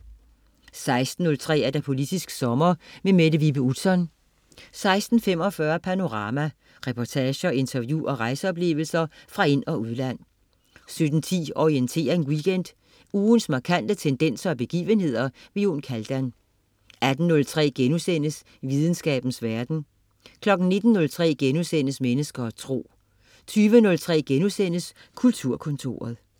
16.03 Politisk Sommer. Mette Vibe Utzon 16.45 Panorama. Reportager, interview og rejseoplevelser fra ind- og udland 17.10 Orientering Weekend. Ugens markante tendenser og begivenheder. Jon Kaldan 18.03 Videnskabens verden* 19.03 Mennesker og tro* 20.03 Kulturkontoret*